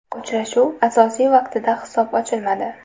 Uchrashuv asosiy vaqtida hisob ochilmadi.